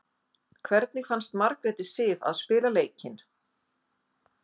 Hvernig fannst Margréti Sif að spila leikinn?